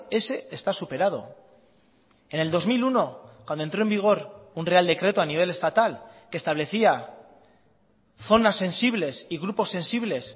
ese está superado en el dos mil uno cuando entró en vigor un real decreto a nivel estatal que establecía zonas sensibles y grupos sensibles